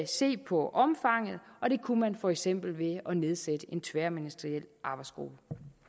se på omfanget og det kunne man for eksempel ved at nedsætte en tværministeriel arbejdsgruppe